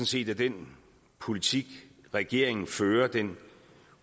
set at den politik regeringen fører den